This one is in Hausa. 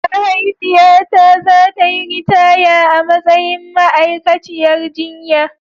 Mahaifiyata za ta yi ritaya a matsayin ma'aikaciyar jinya.